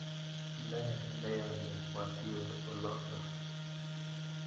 Ne neiyoni matiwe olotok?